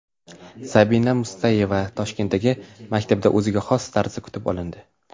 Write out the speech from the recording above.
Sabina Mustayeva Toshkentdagi maktabida o‘ziga xos tarzda kutib olindi .